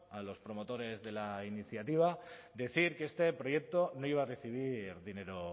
a los promotores de la iniciativa decir que este proyecto no iba a recibir dinero